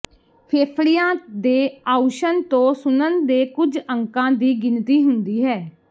ਫੇਫੜਿਆਂ ਦੇ ਆਉਸ਼ਣ ਤੋਂ ਸੁਣਨ ਦੇ ਕੁਝ ਅੰਕਾਂ ਦੀ ਗਿਣਤੀ ਹੁੰਦੀ ਹੈ